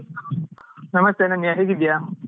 ನಮಸ್ತೆ ಅನನ್ಯ ಹೇಗಿದ್ದೀಯಾ?